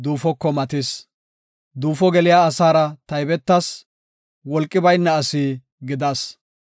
Duufo geliya asaara taybetas; wolqi bayna asi gidas.